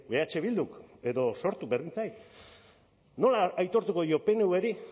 eh bilduk edo sortuk berdin zait nola aitortuko dio pnvri